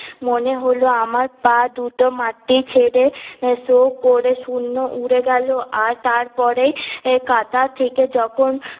মনে হল আমার পা দুটি মাটি ছেরে সঃ করে শুন্নে উড়ে গেল আর তার পরে কাদা থেকে যখন